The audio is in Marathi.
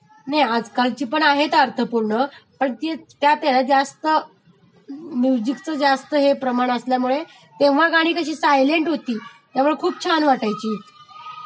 नाही आज कालची पण आहेत अर्थपूर्ण पण त्यातहेना जास्त म्युजिकचं जास्त हे प्रमाण असल्यामुळे तेव्हा गाणी कशी सायलेंट होती, त्यामुळे खूप छान वाटायची